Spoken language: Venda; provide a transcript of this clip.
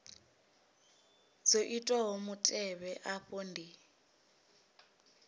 dzo itiwaho mutevhe afha ndi